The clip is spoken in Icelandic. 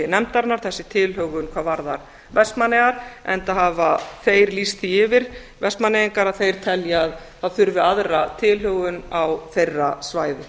nefndarinnar þessi tilhögun hvað varðar vestmannaeyjar enda hafa þeir lýst því yfir vestmannaeyingar að þeir telja að það þurfi aðra tilhögun á þeirra svæði